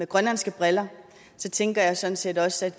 grønlandske briller tænker jeg sådan set også at